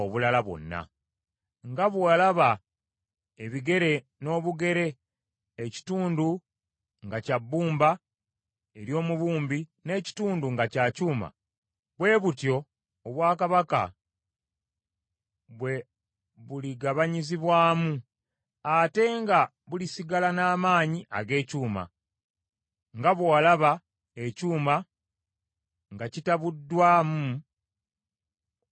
Nga bwe walaba ebigere n’obugere ekitundu nga kya bbumba ery’omubumbi, n’ekitundu nga kya kyuma, bwe butyo obwakabaka bwe buligabanyizibwamu; ate nga bulisigala n’amaanyi ag’ekyuma, nga bwe walaba ekyuma nga kitabuddwamu ebbumba.